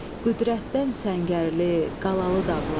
Qüdrətdən səngərli, qalalı dağlar.